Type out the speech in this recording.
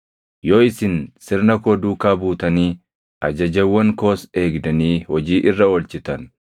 “ ‘Yoo isin sirna koo duukaa buutanii ajajawwan koos eegdanii hojii irra oolchitan,